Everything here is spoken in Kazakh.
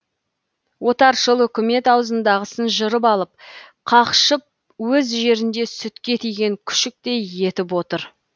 отаршыл үкімет аузындағысын жырып алып қақшып өз жерінде сүтке тиген күшіктей етіп отыр